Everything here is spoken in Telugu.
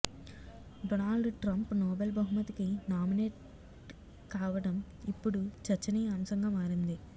డోనాల్డ్ ట్రంప్ నోబెల్ బహుమతికి నామినేట్ కావడం ఇప్పుడు చర్చనీయాంశంగా మారింది